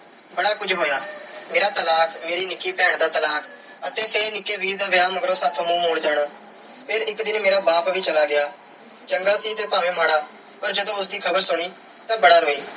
ਬੜਾ ਕੁਝ ਹੋਇਆ। ਮੇਰਾ ਤਲਾਕ, ਮੇਰੀ ਨਿੱਕੀ ਭੈਣ ਦਾ ਤਲਾਕ ਅਤੇ ਫਿਰ ਨਿੱਕੇ ਵੀਰ ਦਾ ਵਿਆਹ ਮਗਰੋਂ ਸਾਥੋਂ ਮੂੰਹ ਮੋੜ ਜਾਣਾ। ਫਿਰ ਇੱਕ ਦਿਨ ਮੇਰਾ ਬਾਪ ਵੀ ਚਲਾ ਗਿਆ। ਚੰਗਾ ਸੀ ਤੇ ਭਾਵੇਂ ਮਾੜਾ। ਪਰ ਜਦੋਂ ਉਸ ਦੀ ਖ਼ਬਰ ਸੁਣੀ, ਤਾਂ ਬੜਾ ਰੋਈ।